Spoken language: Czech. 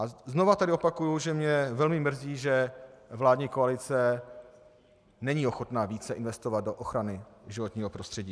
A znovu tedy opakuji, že mě velmi mrzí, že vládní koalice není ochotna více investovat do ochrany životního prostředí.